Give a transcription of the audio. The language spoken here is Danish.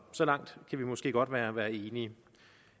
så langt kan vi måske godt være være enige